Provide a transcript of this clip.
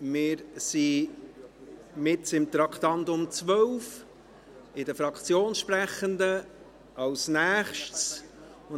Wir sind bei den Fraktionssprechenden für das Traktandum 12 verblieben.